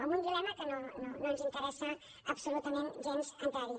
en un dilema en què no ens interessa absolutament gens entrar hi